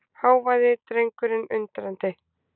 hváði drengurinn undrandi.